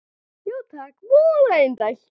Já takk, voða indælt